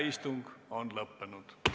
Istung on lõppenud.